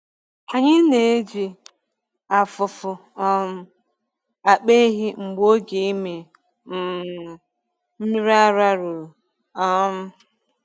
Anyị na-eji afụfụ um akpọ ehi mgbe oge ịmị um mmiri ara ruru. um